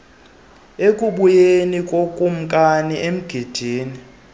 ekubuyeni kokumkani emgidini